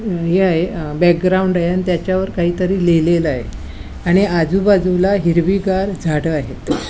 उ हि आहे अ बॅकग्राऊंड आहे आणि त्याच्या वर काहीतरी लिहलेल आहे आणि आजुबाजुला हिरवीगार झाड आहेत.